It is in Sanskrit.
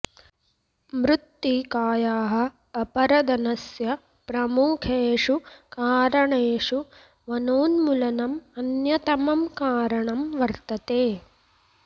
मृत्तिकायाः अपरदनस्य प्रमुखेषु कारणेषु वनोन्मूलनम् अन्यतमं कारणं वर्तते